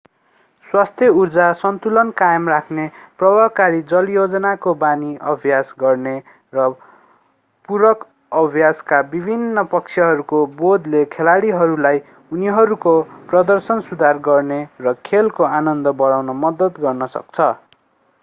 स्वस्थ उर्जा सन्तुलन कायम राख्ने प्रभावकारी जलयोजनको बानी अभ्यास गर्ने र पूरक अभ्यासका विभिन्न पक्षहरूको बोधले खेलाडीहरूलाई उनीहरूको प्रदर्शन सुधार गर्न र खेलको आनन्द बढाउन मद्दत गर्न सक्छ